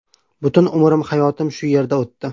Butun umrim, hayotim shu yerda o‘tdi.